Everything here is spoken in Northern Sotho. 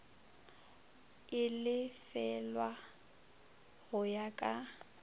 e lefelwago go ya ka